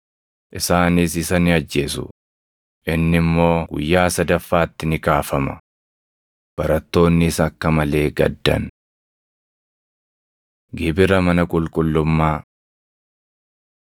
Isaanis isa ni ajjeesu; inni immoo guyyaa sadaffaatti ni kaafama.” Barattoonnis akka malee gaddan. Gibira Mana Qulqullummaa